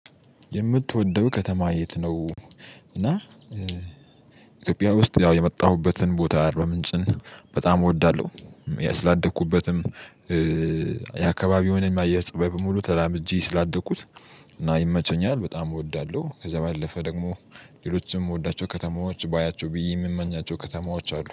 የምትወደው ከተማ የት ነው? እና ኢትዮጵያ ውስጥ ያው የመጣሁበትን ቦታ አርባምንጭን በጣም እወዳለሁ። ስላደኩበትም የአካባቢውን የአየር ፀባይ በሙሉ ተላምጄ ስላደኩት። እና ይመቸኛል በጣም እወዳለሁ። ከዛ ባለፈ ደግሞ ሌሎችንም የምወዳቸው ከተማዎች ባያቸው ብዬ የምመኛቸው ከተማዎች አሉ